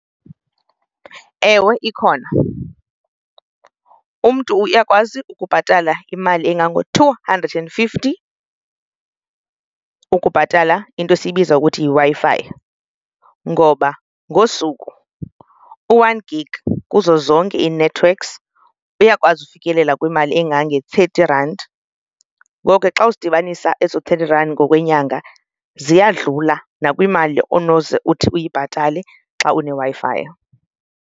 Ewe, ikhona. Umntu uyakwazi ukubhatala imali engango-two hundred and fifty ukubhatala into esiyibiza ukuthi yiWi-Fi ngoba ngosuku u-one gig kuzo zonke ii-networks uyakwazi ukufikelela kwimali engange-thirty rand. Ngoko ke xa uzidibanisa ezo thirty rand ngokwenyanga ziyadlula nakwimali onoze uthi uyibhatale xa uneWi-Fi.